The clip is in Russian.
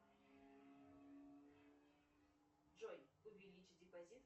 джой увеличить депозит